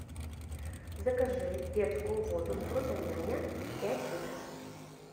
закажи детскую воду фрутоняня пять литров